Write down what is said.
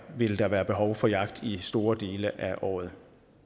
vil der være behov for jagt i store dele af året